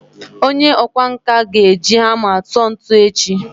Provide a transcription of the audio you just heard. onye okwá nkà ga-eji hama tuo ntu echi